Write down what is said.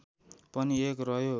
पनि एक रह्यो